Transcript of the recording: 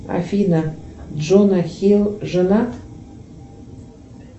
афина джона хилл женат